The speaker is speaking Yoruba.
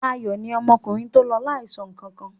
Ayọ̀ ni ọmọkùnrin tó lọ láìsọ nǹkan kan.